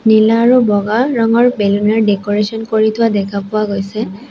নীলা আৰু বগা ৰঙৰ বেলুন ৰ ডেক'ৰেছন কৰি থোৱা দেখা পোৱা গৈছে।